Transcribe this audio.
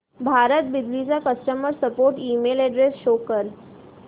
भारत बिजली चा customer support email address show कर